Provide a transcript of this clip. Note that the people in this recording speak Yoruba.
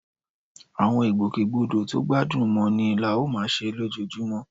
Àwọn ìgbòkègbodò tó gbádùn mọ́ni la ó máa ṣe lójoojúmọ́